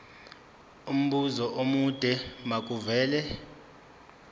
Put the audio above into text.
umbuzo omude makuvele